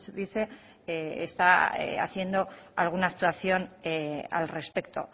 dice está haciendo alguna actuación al respecto